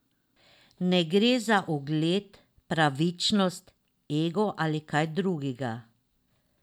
Ne gre za ugled, pravičnost, ego ali kaj drugega.